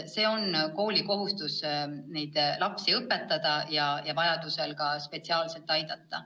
Kooli kohustus on lapsi õpetada ja vajaduse korral ka spetsiaalselt aidata.